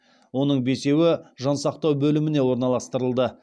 оның бесеуі жансақтау бөліміне орналастырылды